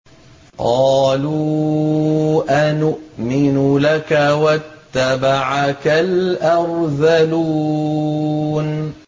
۞ قَالُوا أَنُؤْمِنُ لَكَ وَاتَّبَعَكَ الْأَرْذَلُونَ